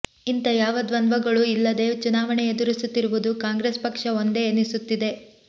ಇಂಥ ಯಾವ ದ್ವಂದ್ವಗಳೂ ಇಲ್ಲದೇ ಚುನಾವಣೆ ಎದುರಿಸುತ್ತಿರುವುದು ಕಾಂಗ್ರೆಸ್ ಪಕ್ಷ ಒಂದೇ ಎನಿಸುತ್ತದೆ